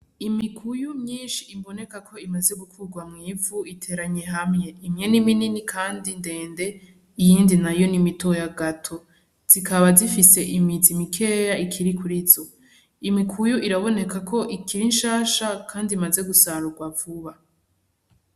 Imikuyu myinshi ibonekako imaze gukugwa mw'ivu iteranye hamwe; imwe niminini kandi ndende iyindi nayo nimitoya gato; zikaba zifise imizi mikeya ikiri kurizo. Imikuyu irabonekako ikiri nshasha kandi imaze gusarugwa vuba.